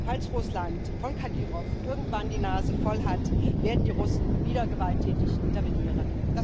Falls Russland von Kadyrow irgendwann die Nase voll hat, werden die Russen wieder gewalttätig intervenieren.